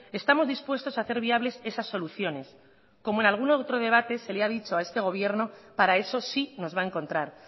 estamos dispuestos a hacer viables esas soluciones como en algún otro debate se le ha dicho a este gobierno para eso sí nos va a encontrar